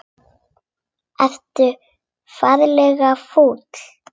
Ertu ferlega fúll?